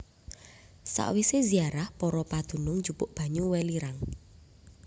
Sawisé ziarah para padunung njupuk banyu welirang